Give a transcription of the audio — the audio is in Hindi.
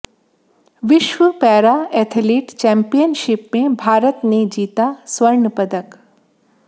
विश्व पैरा एथलीट चैम्पियनशिप में भारत ने जीता स्वर्ण पदक